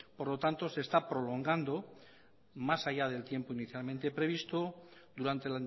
por lo tanto se está prolongando más allá del tiempo inicialmente previsto durante